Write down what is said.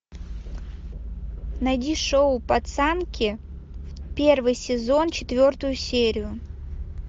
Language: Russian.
найди шоу пацанки первый сезон четвертую серию